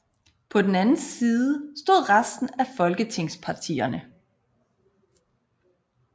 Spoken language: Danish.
På den anden side stod resten af folketingspartierne